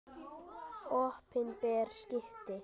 Opinber skipti.